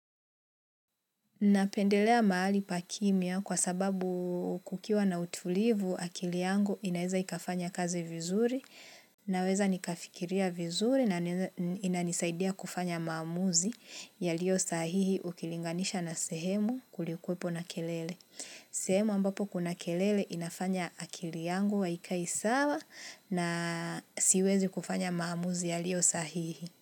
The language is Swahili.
Napendelea mahali pakimia kwa sababu kukiwa na utulivu akili yangu inaweza ikafanya kazi vizuri. Naweza nikafikiria vizuri na inanisaidia kufanya maamuzi yaliosahihi ukilinganisha na sehemu kulikuwepo na kelele. Sehemu ambapo kuna kelele inafanya akili yangu aikai sawa na siwezi kufanya maamuzi ya lio sahihi.